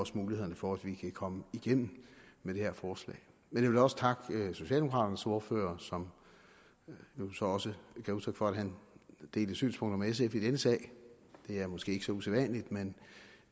mulighederne for at vi kan komme igennem med det her forslag men jeg vil også takke socialdemokraternes ordfører som jo også gav udtryk for at han delte synspunkter med sf i denne sag det er måske ikke så usædvanligt men